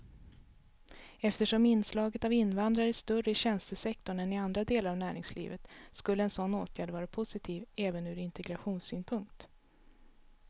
Eftersom inslaget av invandrare är större i tjänstesektorn än i andra delar av näringslivet skulle en sådan åtgärd vara positiv även ur integrationssynpunkt.